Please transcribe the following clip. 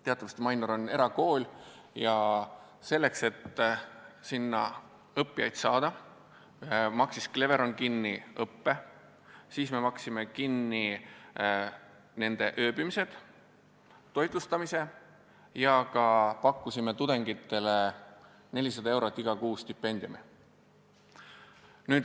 Teatavasti Mainor on erakool ja selleks, et sinna õppijaid saada, maksis Cleveron kinni õppe, me maksime kinni nende ööbimised, toitlustamise ja ka pakkusime tudengitele 400 eurot kuus stipendiumi.